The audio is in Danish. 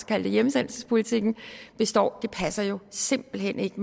kalde det hjemsendelsespolitikken består passer jo simpelt hen ikke